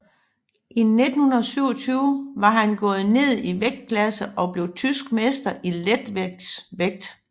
I 1927 var han gået ned i vægtklasse og blev tysk mester i letsværvægt